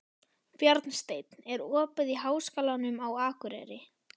Bjarnsteinn, er opið í Háskólanum á Akureyri?